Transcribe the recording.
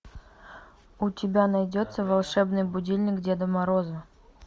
у тебя найдется волшебный будильник деда мороза